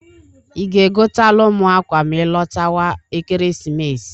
I ga-egotalụ m akwa ma ịlọtawa Ekeresimesi?